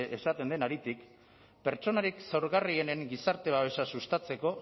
esaten den haritik pertsonarik zaurgarrienen gizarte babesa sustatzeko